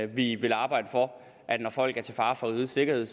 vi vil arbejde for at folk der er til fare for rigets sikkerhed